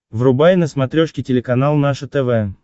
врубай на смотрешке телеканал наше тв